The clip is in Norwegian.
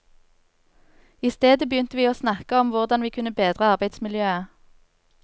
I stedet begynte vi å snakke om hvordan vi kunne bedre arbeidsmiljøet.